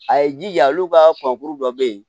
A ye jija olu ka kɔnkuru dɔ bɛ yen